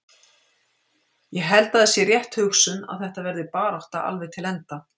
Ég held að það sé rétt hugsun að þetta verði barátta alveg til enda.